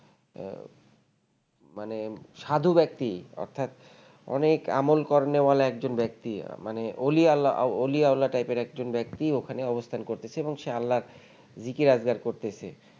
আহ মানে সাধু ব্যাক্তি অর্থাৎ অনেক আমল করনে ওয়ালা একজন ব্যাক্তি মানে অলি আওলা অলি আওলা type এর একজন ব্যাক্তি ওখানে অবস্থান করতেছে এবং সে আল্লাহর রিকে আবদার করছে